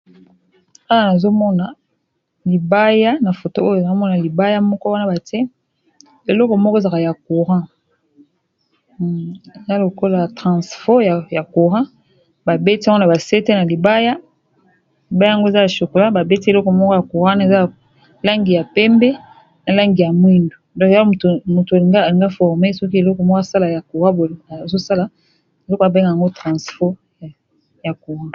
Awa nazo mona libaya na foto oyo nao mona libaya moko wana bate eloko moko ezala ya courant za lokolo ya transfot ya courant babeti yango na basete na libaya bayango eza ya chocola babeti eleko moko ya courant eza langi ya pembe na langi ya mwindu donk ya moto alinga alinga forme soki eleko mw sala ya courant ezosala ezoko babengango transfot ya courant